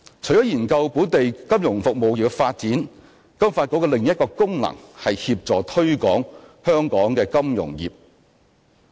除研究本地金融服務業的發展，金發局的另一功能是協助推廣香港金融業。